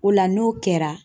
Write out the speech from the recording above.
O la n'o kɛra.